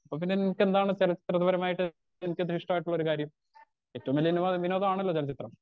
അപ്പൊ പിന്നെ നിനക്ക് എന്താണ് ചെലച്ചിത്ര പരമായിട്ട് നിനക്കത് ഇഷ്ട്ടായിട്ടുള്ളൊരു കാര്യം ഏറ്റവും വലിയ വിനോദാണലോ ചെലചിത്രം